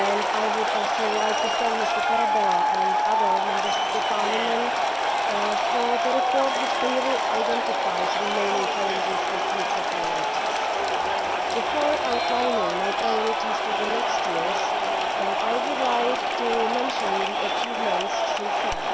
I would also like to thank Mr Tarabella and other Members of Parliament for the report, which clearly identifies remaining challenges and future priorities. Before outlining my priorities for the coming years, I would like to mention the achievements so far.